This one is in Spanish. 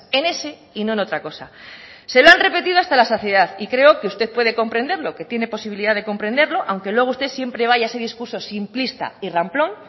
en ese y no en otra cosa se lo han repetido hasta la saciedad y creo que usted puede comprenderlo que tiene posibilidad de comprenderlo aunque luego usted siempre vaya a ese discurso simplista y ramplón